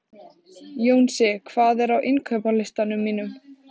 Jónsi, hvað er á innkaupalistanum mínum?